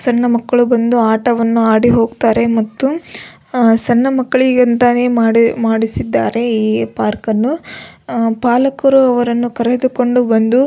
ಸಣ್ಣ ಮಕ್ಕಳು ಬಂದು ಆಟವನ್ನು ಆಡಿ ಹೋಗತ್ತಾರೆ ಮತ್ತು ಅಹ್ ಸಣ್ಣ ಮಕ್ಕಳಿಗೆ ಅಂತನೆ ಮಾಡಿ ಮಾಡಿಸಿದ್ದಾರೆ ಈ ಪಾರ್ಕ್ ಅನ್ನು ಅಹ್ ಪಾಲಕರು ಅವರನ್ನು ಕರೆದುಕೊಂಡು ಬಂದು.